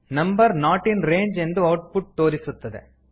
number not in range ಎಂದು output ತೋರಿಸುತ್ತದೆ